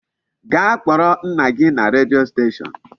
Gaa kpọrọ nna gị na redio station.